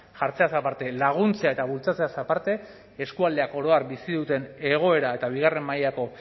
jartzeaz aparte laguntzea eta bultzatzeaz aparte eskualdeak oro har bizi duten egoera eta bigarren mailako